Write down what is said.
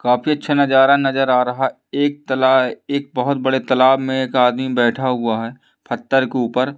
काफी अच्छा नजरा नजर आ रहा एक तलाक एक बहुत बड़े तालाब में एक आदमी बैठा हुआ है फ़त्थर के ऊपर--